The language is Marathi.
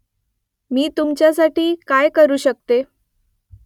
मी तुमच्यासाठी काय करू शकते ?